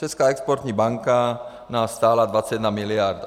Česká exportní banka nás stála 21 miliard.